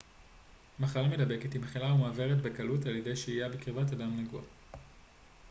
מחלה מדבקת היא מחלה המועברת בקלות על ידי שהייה בקרבת אדם נגוע